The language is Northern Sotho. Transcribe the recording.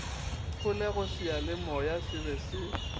kgolego seyalemoya se be se